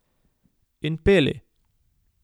In peli.